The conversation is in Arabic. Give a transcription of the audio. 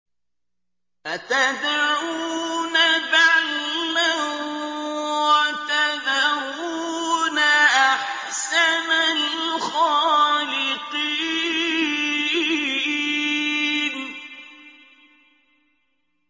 أَتَدْعُونَ بَعْلًا وَتَذَرُونَ أَحْسَنَ الْخَالِقِينَ